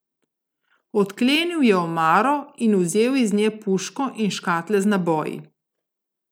Odklenil je omaro in vzel iz nje puško in škatle z naboji.